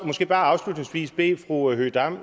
måske bare afslutningsvis bede fru høegh dam